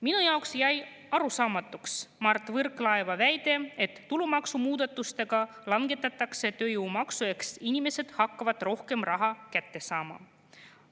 Minu jaoks jäi arusaamatuks Mart Võrklaeva väide, et tulumaksumuudatustega langetatakse tööjõumaksu ehk inimesed hakkavad rohkem raha kätte saama.